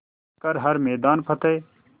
कर हर मैदान फ़तेह